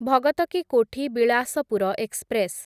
Bhagat ki Kothi Bilaspur express